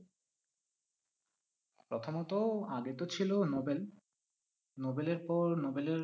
প্রথমত আগে তো ছিল নোবেল নোবেলের পর